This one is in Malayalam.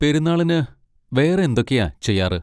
പെരുന്നാളിന് വേറെ എന്തൊക്കെയാ ചെയ്യാറ്?